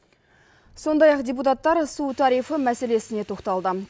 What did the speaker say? сондай ақ депутаттар су тарифі мәселесіне тоқталды